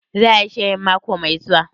Za a yi shirin mako mai zuwa?